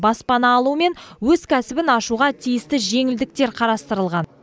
баспана алу мен өз кәсібін ашуға тиісті жеңілдіктер қарастырылған